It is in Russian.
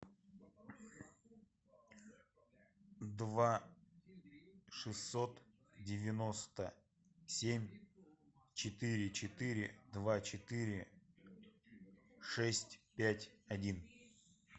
два шестьсот девяносто семь четыре четыре два четыре шесть пять один